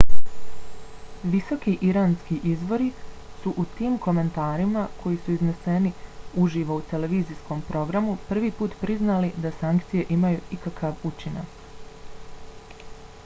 visoki iranski izvori su u tim komentarima koji su izneseni uživo u televizijskom programu prvi put priznali da sankcije imaju ikakav učinak